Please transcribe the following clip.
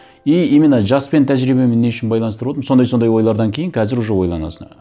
и именно жаспен тәжірибемен не үшін байланыстырып отырмын сондай сондай ойлардан кейін қазір уже ойланасың